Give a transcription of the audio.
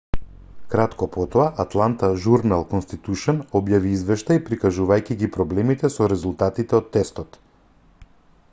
кратко потоа атланта журнал-конститушн објави извештај прикажувајќи ги проблемите со резултатите од тестот